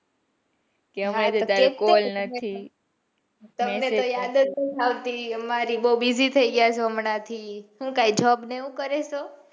તમને તો યાદ જ નાઈ આવતી અમારી બૌ busy થઇ ગયા બચો હમણાં થી હું કઈ job કરો ચો.